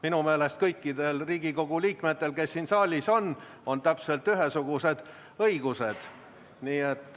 Minu meelest on kõikidel Riigikogu liikmetel, kes siin saalis on, täpselt ühesugused õigused.